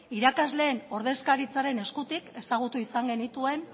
irakasleen ordezkaritzaren eskutik ezagutu izan genituen